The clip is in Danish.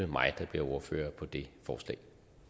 mig der bliver ordfører på det forslag